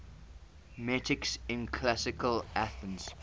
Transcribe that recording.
metics in classical athens